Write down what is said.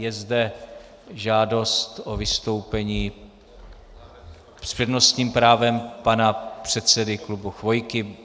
Je zde žádost o vystoupení s přednostním právem pana předsedy klubu Chvojky.